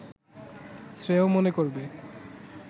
শ্রেয় মনে করবে